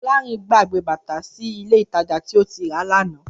Fọlárìn gbàgbé bàtà tí ó rà sí Ilé-ìtajà tí ó ti rà á lánàá